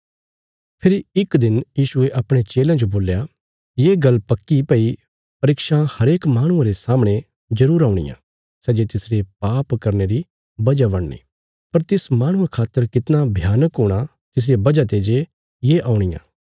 फेरी इक दिन यीशुये अपणे चेलयां जो बोल्या ये गल्ल पक्की भई परीक्षां हरेक माहणुये रे सामणे जरूर औणियां सै जे तिसरे पाप करने री वजह बणनी पर तिस माहणुये खातर कितना भयानक हूणा तिसरिया वजह ते जे ये औणियां